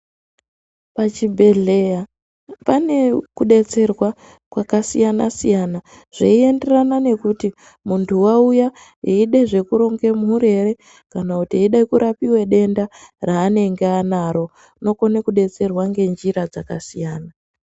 Pachibhedhleya pane kudetserwa kwakasiyana siyana zveienderana nekuti muntu wauya eida zvekuranga mhuru here kana kuti eide kurapiwa denda raanenge anaro unokone kudetserwa ngenjira dzakasiyana.